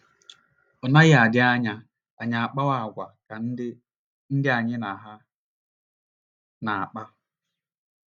Ọ naghị adị anya anyị akpawa àgwà ka ndị ndị anyị na ha na - akpa.